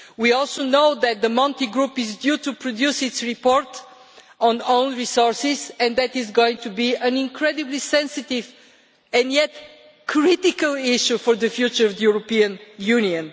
We also know that the Monti group is due to produce its report on own resources, and that is going to be an incredibly sensitive and yet critical issue for the future of the European Union.